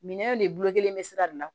Minɛnw de bolo kelen bɛ sira de la